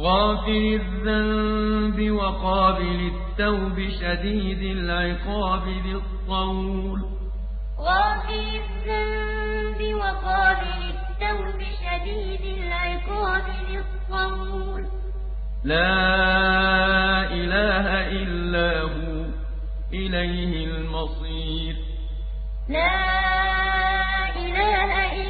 غَافِرِ الذَّنبِ وَقَابِلِ التَّوْبِ شَدِيدِ الْعِقَابِ ذِي الطَّوْلِ ۖ لَا إِلَٰهَ إِلَّا هُوَ ۖ إِلَيْهِ الْمَصِيرُ غَافِرِ الذَّنبِ وَقَابِلِ التَّوْبِ شَدِيدِ الْعِقَابِ ذِي الطَّوْلِ ۖ لَا إِلَٰهَ إِلَّا هُوَ ۖ